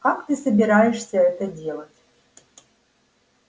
как ты собираешься это делать